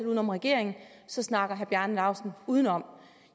uden om regeringen så snakker herre bjarne laustsen udenom